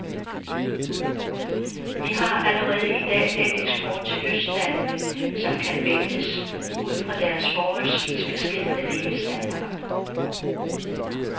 Vi har allerede i dag den eksport til østlandene, som kan ventes ud fra deres forholdsvis beskedne levestandard.